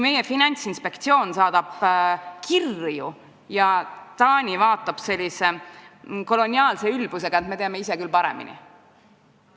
Meie Finantsinspektsioon saatis kirju ja Taani vastas koloniaalse ülbusega, et nad teavad ise paremini.